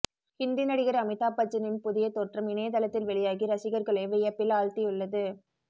ஹிந்தி நடிகர் அமிதாப்பச்சனின் புதிய தோற்றம் இணையதளத்தில் வெளியாகி ரசிகர்களை வியப்பில் ஆழ்த்தியுள்ளது